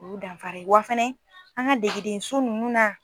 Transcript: O y'u danfara ye wa fana an ka degedenso ninnu na.